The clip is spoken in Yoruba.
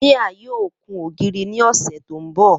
Mia yoo kun ogiri ni ọsẹ to nbọ.